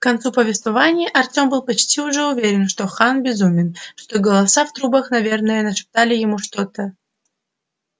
к концу повествования артём был почти уже уверен что хан безумен что голоса в трубах наверное нашептали ему что-то